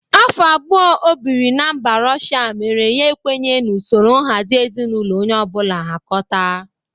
Afọ abụo o bịrị na mba Rọsha mere ya ikwenye n'usoro nhazị ezinaụlọ onye ọbụla hakọta.